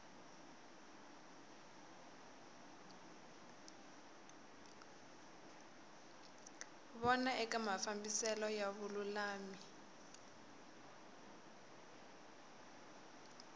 vona eka mafambiselo ya vululami